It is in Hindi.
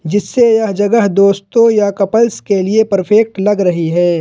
जिससे यह जगह दोस्तों या कपल्स के लिए परफेक्ट लग रही है।